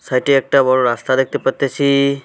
সাইটে -এ একটা বড় রাস্তা দেখতে পারতেসি।